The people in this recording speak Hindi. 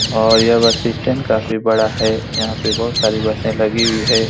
और यह बस स्टैंड काफी बड़ा है यहाँ पे बहुत सारी बसे लगी हुई है।